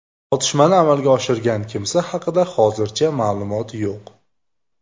Otishmani amalga oshirgan kimsa haqida hozircha ma’lumot yo‘q.